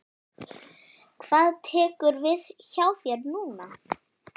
Hvað tekur við hjá þér núna?